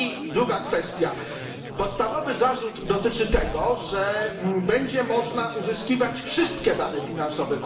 Druga kwestia podstawowy zarzut dotyczy tego, że będzie można uzyskiwać wszystkie dane finansowe.